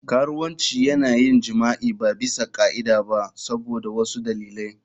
Karuwanci yana yin jima'i ba bisa ka'ida ba saboda wasu dalilai.